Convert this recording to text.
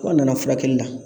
Ko a nana furakɛli la